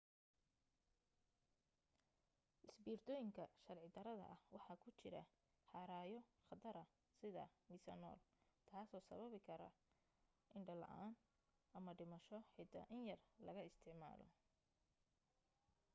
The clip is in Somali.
isbiirtooyinka sharci darrada ah waxa ku jira haraayo khatara sida miisanool taasoo sababi karta indho la'aan ama dhimasho xitaa in yar laga isticmaalo